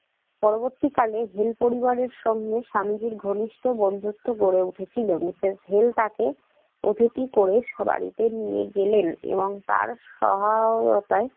পরবর্তীকালে হেল পরিবারের সঙ্গে স্বামীজীর ঘনিষ্ঠ বন্ধুত্ব গড়ে উঠেছিল। মিসেস হেল তাকে অতিথি করে স্ব বাড়িতে নিয়ে গেলেন এবং তার সহায়তায়